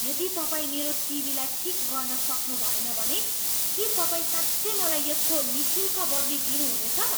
यदि तपाईँ मेरो टिभीलाई ठिक गर्न सक्नुभएन भने के तपाईँ साँच्चै मलाई यसको निःशुल्क बदली दिनु हुनेछ?